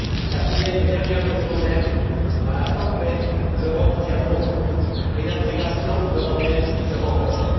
Quatrième et dernière leçon même dans la tempête, l'Europe tient bon et l'intégration européenne se renforce.